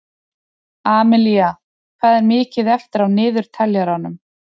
Amilía, hvað er mikið eftir af niðurteljaranum?